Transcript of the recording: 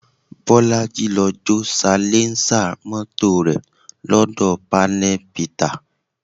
Bolaji lọ jó salẹńsà mọ́tò rẹ̀ lọ́dọ̀ panel beater